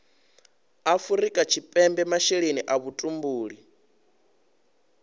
afrika tshipembe masheleni a vhutumbuli